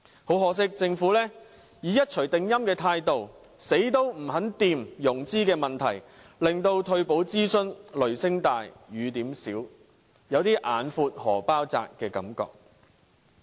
很可惜，政府以一錘定音的態度，怎樣也不肯碰觸融資的問題，令退保諮詢雷聲大，雨點小，有些"眼闊荷包窄"的感覺。